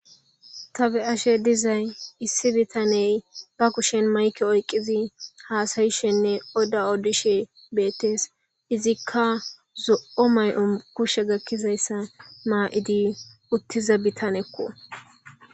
tabe ashe dizay issi bitaney ba kushen mayke oyqqizi haasayishenne oda odishe beettes izikka zo7o may7on kushe gakkizayssa maa7idi uttiza bitanekko